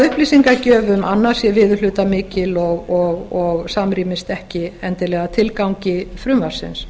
upplýsingagjöf um annað sé viðurhlutamikil og samrýmist ekki endilega tilgangi frumvarpsins